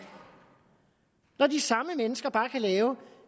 når de samme mennesker bare kan lave